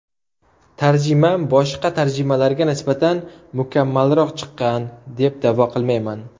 Tarjimam boshqa tarjimalarga nisbatan mukammalroq chiqqan, deb da’vo qilmayman.